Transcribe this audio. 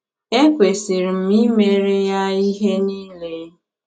Ekwesịrị m imere ya ihe niile.